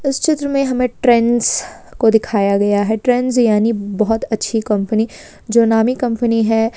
इस चित्र में हमें ट्रेंड्स को दिखाया गया है ट्रेंड्स यानी बहुत अच्छी कंपनी जो नामी कंपनी है।